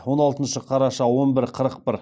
он алтыншы қараша он бір қырық бір